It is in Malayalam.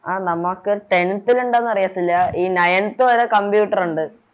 ആ നമക്ക് Tenth ല് ഉണ്ടോന്ന് അറിയത്തില്ല ഈ Nineth വരെ Computer ഒണ്ട്